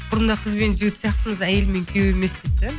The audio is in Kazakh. бұрында қыз бен жігіт сияқтымыз әйелі мен күйеуі емес дейді де